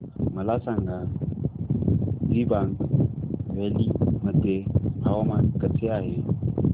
मला सांगा दिबांग व्हॅली मध्ये हवामान कसे आहे